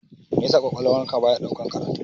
Meya sa ƙwaƙwalwan ka baya ɗaukan karatu?